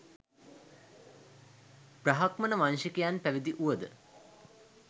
බ්‍රාහ්මණ වංශිකයන් පැවිදි වූවද